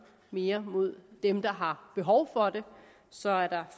mere mod dem der har behov for det så er